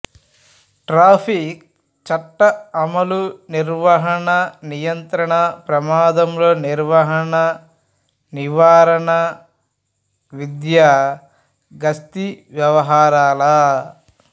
traffic చట్ట అమలు నిర్వహణ నియంత్రణ ప్రమాదంలో నిర్వహణ నివారణ విద్య గస్తీ వ్యవహారాల